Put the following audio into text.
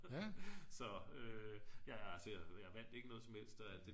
så altså jeg vandt ikke noget som helst